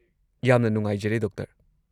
ꯌꯥꯝꯅ ꯅꯨꯡꯉꯥꯏꯖꯔꯦ, ꯗꯣꯛꯇꯔ꯫